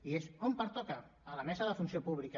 i on pertoca a la mesa de la funció pública